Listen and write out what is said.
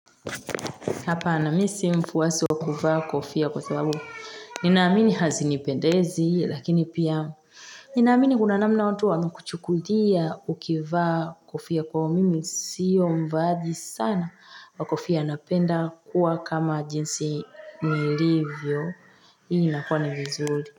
Hapana mimi si mfuwasi wakuvaa kofia kwa sababu. Nina amini hazinipendezi, lakini pia. Ninaamini kuna namna watu wawemekuchukulia ukivaa kufia kwa hiyo mimi. Sio mvaaji sana wakofia napenda kuwa kama jinsi nilivyo. iIi nakua ni vizuri.